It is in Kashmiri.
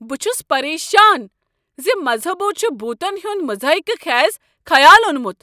بہٕ چھُس پریشان زِ مذہبو چھ بھوٗتن ہُند مضحکہ خیز خیال اوٚنمُت۔